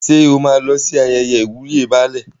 Ṣé o máa lọ sí ayẹyẹ ìwúyè Baálẹ̀?